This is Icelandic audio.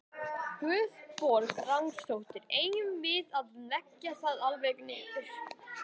Guðbjörg Ragnarsdóttir: Eigum við að leggja það alveg niður?